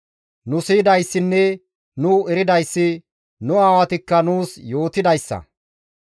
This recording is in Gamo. Nu siyidayssinne nu eridayssi, nu aawatikka nuus yootidayssa.